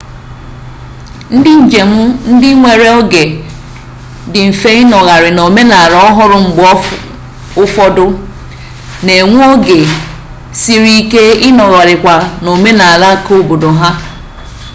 ndị njem ndị nwere oge dị mfe ịnọgharị n'omenala ọhụrụ mgbe ụfọdụ na-enwe oge siri ike ịnọgharịkwa n'omenala keobodo ha